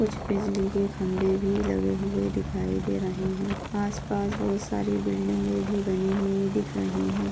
कुछ बिजली के खंबे भी लगे हुवे दिखाई दे रहे है आसपास बहुत सारी बिल्डिंगे भी बनी हुई दिख रही है।